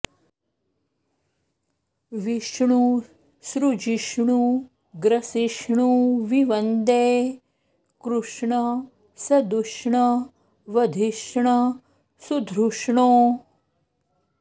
विष्णु सृजिष्णु ग्रसिष्णु विवन्दे कृष्ण सदुष्ण वधिष्ण सुधृष्णो